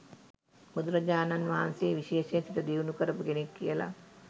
බුදු රජාණන් වහන්සේ විශේෂයෙන් සිත දියුණු කරපු කෙනෙක් කියලා